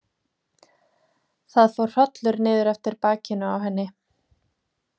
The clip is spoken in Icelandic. Það fór hrollur niður eftir bakinu á henni.